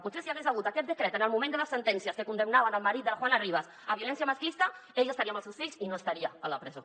potser si hi hagués hagut aquest decret en el moment de les sentències que condemnaven el marit de la juana rivas per violència masclista ella estaria amb els seus fills i no estaria a la presó